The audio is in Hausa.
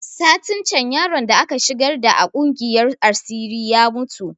Satin can yaron da aka shigar da a kungiyar asiri ya mutu